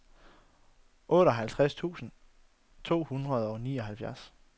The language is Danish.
otteoghalvtreds tusind to hundrede og nioghalvfjerds